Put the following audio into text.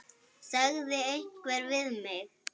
sagði einhver við mig.